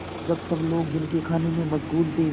जब सब लोग दिन के खाने में मशगूल थे